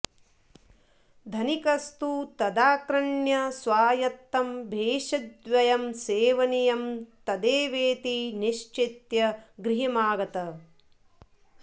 धनिकस्तु तदाकण्र्य स्वायत्तं भेषजद्वयं सेवनीयं तदेवेति निश्चित्य गृहमागतः